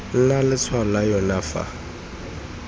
nna letshwao la yona fa